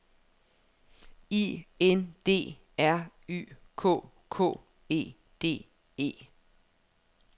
I N D R Y K K E D E